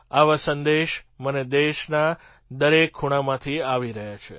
આવા સંદેશ મને દેશના દરેક ખૂણામાંથી આવી રહ્યા છે